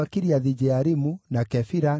na cia Harimu ciarĩ 1,017.